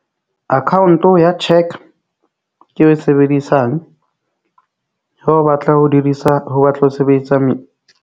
Account ya cheque ke e sebedisang ha o batla ho dirisa, ho batla, ho sebetsa metsi.